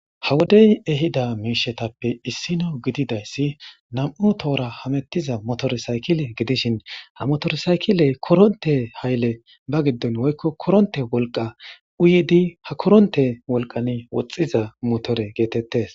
Ha wodey ehidaytappe issi nam7u toora hamettiza motore sayikile gidishin ha motore sayikiley koronte hayile ba giddon koronte wolqa giddon uyidi ba wolqan woxxiza motore geetettees.